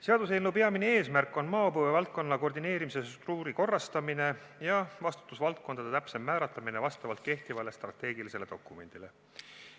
Seaduseelnõu peamine eesmärk on maapõue valdkonna koordineerimise struktuuri korrastamine ja vastutusvaldkondade täpsem määratlemine vastavalt kehtivale strateegilisele dokumendile.